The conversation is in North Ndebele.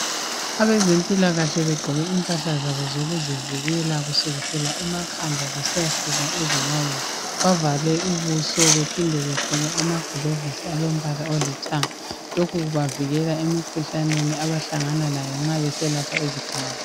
Abezempilakahle begqoke impahla zabo zokuzivikela kusukisela emakhanda kusiya ezinyaweni. Bavale ubuso bephinde begqoke amagilovisi alombala olithanga . Lokhu kubavikela emikhuhlaneni abahlangana layo nxa beselapha izigulane.